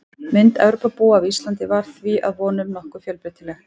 Mynd Evrópubúa af Íslandi var því að vonum nokkuð fjölbreytileg.